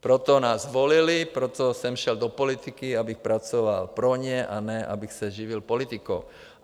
Proto nás volili, proto jsem šel do politiky, abych pracoval pro ně, a ne abych se živil politikou.